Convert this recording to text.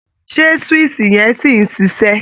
Ṣé swíìṣì yẹn sì ń ṣiṣẹ́?